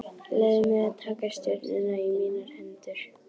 Leyfði mér að taka stjórnina í mínar hendur.